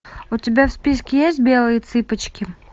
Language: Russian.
у тебя в списке есть белые цыпочки